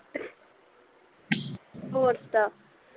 ਹੋਰ ਸੁਣਾ